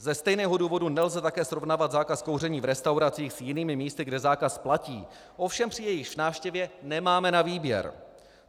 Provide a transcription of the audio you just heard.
Ze stejného důvodu nelze také srovnávat zákaz kouření v restauracích s jinými místy, kde zákaz platí, ovšem při jejichž návštěvě nemáme na výběr.